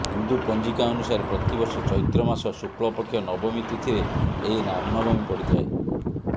ହିନ୍ଦୁ ପଞ୍ଜିକା ଅନୁସାରେ ପ୍ରତିବର୍ଷ ଚୈତ୍ର ମାସ ଶୁକ୍ଲପକ୍ଷ ନବମୀ ତିଥିରେ ଏହି ରାମନବମୀ ପଡିଥାଏ